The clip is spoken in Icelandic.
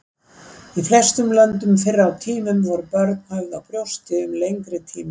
Í flestum löndum fyrr á tímum voru börn höfð á brjósti um lengri tíma.